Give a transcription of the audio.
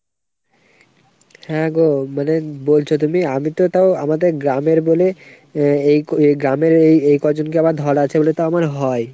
হ্যাগো মানে বলছো তুমি আমিতো তাও আমাদের গ্রামের বলে এই গ্রামের এই ক'জনকে ধরা আছে বলে তাও আমার হয় ।